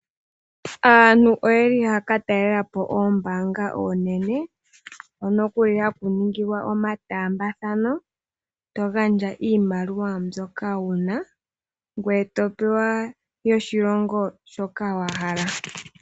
Aantu oyeli haa ka talela po oombaanga oonene hono kuli haku ningilwa omataambathano, to gandja iimaliwa mbyoka una ngoye to pewa yoshilongo shoka wa hala.